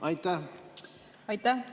Aitäh!